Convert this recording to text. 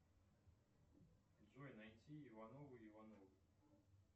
джой найти ивановы ивановы